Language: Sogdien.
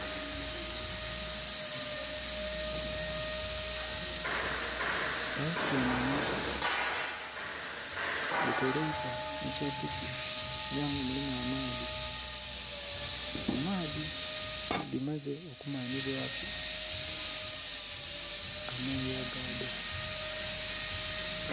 Ensenhenhe dhitereibwa musepiki era nga mulimu amaadhi, mumaadhi nga dhi maze okumanhibwa ku amoya gadho.